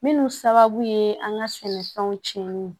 Minnu sababu ye an ka sɛnɛfɛnw cɛnni ye